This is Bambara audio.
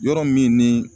Yɔrɔ min ni